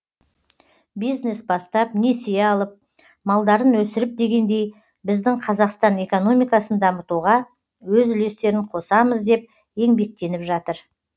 бизнес бастап несие алып малдарын өсіріп дегендей біздің қазақстан экономикасын дамытуға өз үлестерін қосамыз деп еңбектеніп жатыр